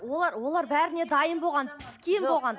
олар олар бәріне дайын болған піскен болған